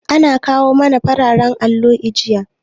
An kawo mana fararan allo jiya.